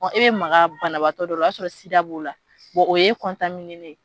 Ɔ e bɛ maga banabaatɔ dɔ la o y'a sɔrɔ sida b'ola, o ye len ye.